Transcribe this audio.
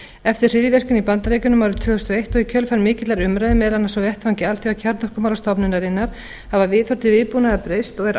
eftir hryðjuverkin í bandaríkjunum árið tvö þúsund og eins og í kjölfar mikillar umræðu meðal annars á vettvangi alþjóðakjarnorkumálastofnunarinnar hafa viðhorf til viðbúnaðar breyst og er